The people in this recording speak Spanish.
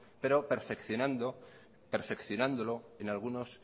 pero perfeccionándolo en algunos